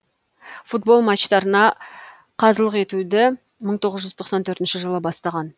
футбол матчтарына қазылық етуді мың тоғыз жүз тоқсан төртінші жылы бастаған